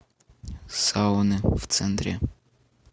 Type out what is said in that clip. сауны в центре